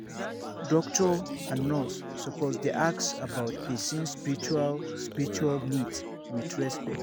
doctor and nurse suppose dey ask about person spiritual spiritual needs with respect